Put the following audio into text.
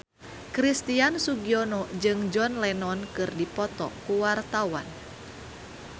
Christian Sugiono jeung John Lennon keur dipoto ku wartawan